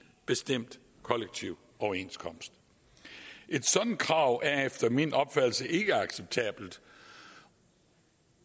bestemt kollektiv overenskomst et sådant krav er efter min opfattelse ikke acceptabelt